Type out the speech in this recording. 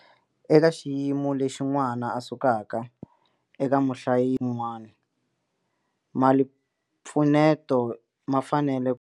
Eka xiyimo lexi n'wana a sukaka eka muhlayisi un'wana malimpfuneto ma fanele.